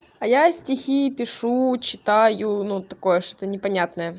а я стихи пишу читаю ну такое что-то не понятное